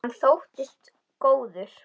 Hann þóttist góður.